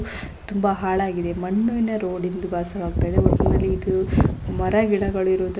ತುಂಬಾ ಹಾಳಾಗಿದೆ ಮಣ್ಣಿನ ರೊಡಿಂದ ವಾಸವಾಗ್ತಿದೆ ಒಟ್ಟನಲ್ಲಿ ಇದು ಮರ ಗಿಡಗಳು ಇರುವ --